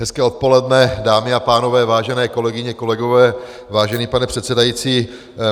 Hezké odpoledne, dámy a pánové, vážené kolegyně, kolegové, vážený pane předsedající.